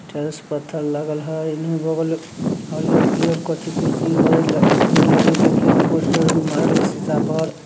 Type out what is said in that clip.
Tiles पत्थर लागल हई इन्नहू बागल हरियर पियर कथि कुर्शी हई उजर लगी देखे में पोस्टर पर मारली सीसा पर।